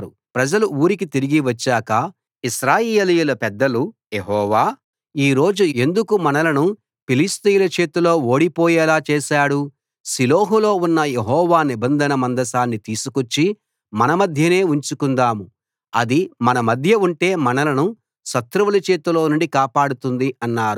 ప్రజలు ఊరికి తిరిగి వచ్చాక ఇశ్రాయేలీయుల పెద్దలు యెహోవా ఈ రోజు ఎందుకు మనలను ఫిలిష్తీయుల చేతిలో ఓడిపోయేలా చేశాడు షిలోహులో ఉన్న యెహోవా నిబంధన మందసాన్ని తీసుకొచ్చి మన మధ్యనే ఉంచుకుందాము అది మన మధ్య ఉంటే మనలను శత్రువుల చేతిలో నుండి కాపాడుతుంది అన్నారు